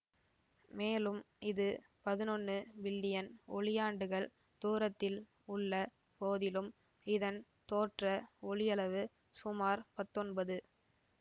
மேலும் இது பதினொன்னு பில்லியன் ஒளியாண்டுகள் தூரத்தில் உள்ள போதிலும் இதன் தோற்ற ஒளியளவு சுமார் பத்தொன்பது